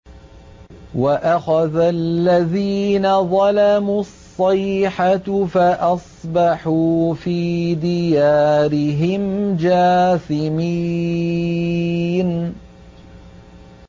وَأَخَذَ الَّذِينَ ظَلَمُوا الصَّيْحَةُ فَأَصْبَحُوا فِي دِيَارِهِمْ جَاثِمِينَ